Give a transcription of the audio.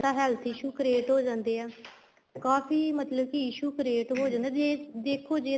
heath issue create ਹੋ ਜਾਂਦੇ ਹੈ ਕਾਫ਼ੀ ਮਤਲਬ ਕੀ issue create ਹੋ ਜਾਂਦੇ ਹੈ ਜ਼ੇ ਦੇਖੋ ਜ਼ੇ ਤਾਂ